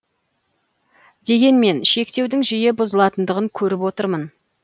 дегенмен шектеудің жиі бұзылатындығын көріп отырмын